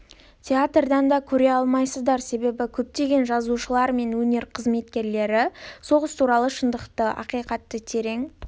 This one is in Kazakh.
театрдан да көре алмайсыздар себебі көптеген жазушылар мен өнер қызметкерлері соғыс туралы шындықты ақиқатты терең